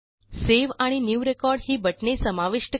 save आणि new record ही बटणे समाविष्ट करा